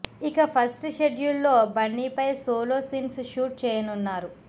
ఇక first schedule లో బన్నీ పై సోలో సీన్స్ షూట్ చేయనున్నారు